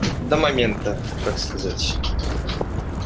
до момента так сказать